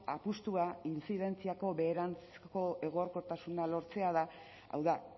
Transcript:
apustua intzidentziako beheranzko egonkortasuna lortzea da hau da